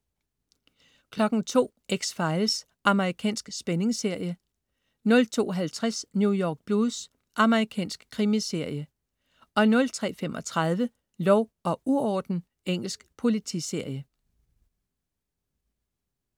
02.00 X-Files. Amerikansk spændingsserie 02.50 New York Blues. Amerikansk krimiserie 03.35 Lov og uorden. Engelsk politiserie